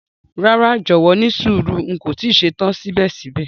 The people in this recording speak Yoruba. Rara, jọwọ nísùúrù, n ko ti ṣetan sibẹ̀sibẹ̀.